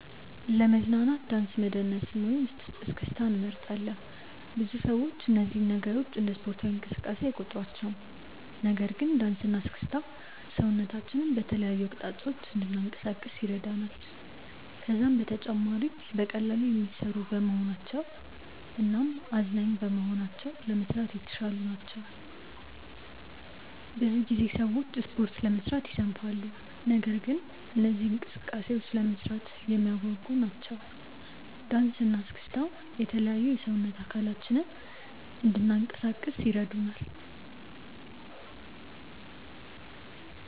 ለመዝናናት ዳንስ መደነስን ወይም እስክስታን እመርጣለሁ። ብዙ ሰዎች እነዚህን ነገሮች እንደ ስፖርታዊ እንቅስቃሴ አይቆጥሯቸውም። ነገር ግን ዳንስ እና እስክስታ ሰውነታችንን በተለያዩ አቅጣጫዎች እንድናንቀሳቅስ ይረዳናል። ከዛም በተጨማሪ በቀላሉ የሚሰሩ በመሆናቸው እናም አዝናኝ በመሆናቸው ለመስራት የተሻሉ ናቸው። ብዙ ጊዜ ሰዎች ስፖርት ለመስራት ይሰንፋሉ። ነገር ግን እነዚህ እንቅስቃሴዎች ለመስራት የሚያጓጉ ናቸው። ዳንሰ እና እስክስታ የተለያዩ የሰውነት አካላችንን እንናንቀሳቀስ ይረዱናል።